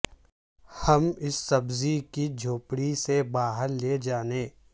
ہم اس سبزی کی جھونپڑی سے باہر لے جانے